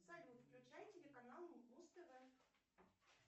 салют включай телеканал муз тв